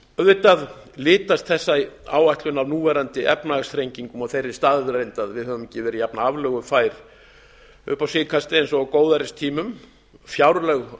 auðvitað litast þessi áætlun af núverandi efnahagsþrengingum og þeirri staðreynd að við höfum ekki verið jafnaflögufær upp á síðkastið og á góðæristímum fjárlög